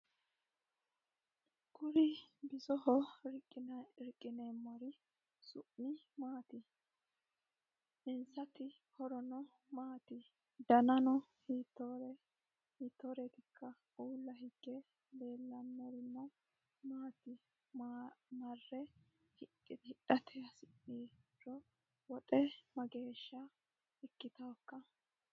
Kuri bisoho riqqinermmeri su'mi maati? Insati horono maati? Danano hiittoreetikka? Uulla hige leellanorino maati? Marre hidhate hasi'niro woxe mageeya ikkitawookka?